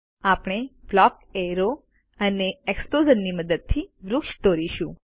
આપણે block arrow અને એક્સ્પ્લોઝ્નની મદદથી વૃક્ષ દોરીશું